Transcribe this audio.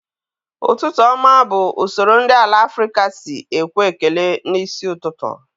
Ụtụtụ ọma bụ usoro ndị ala Afrịka sị ekwe ekele na isi ụtụtụ